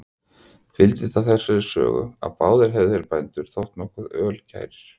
Fylgdi það þessari sögu, að báðir hefðu þeir bændur þótt nokkuð ölkærir.